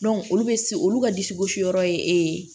olu bɛ se olu ka disi gosi yɔrɔ ye